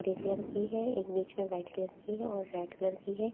Grey colour की है एक बीच में वाइट कलर की है और रेड कलर की है।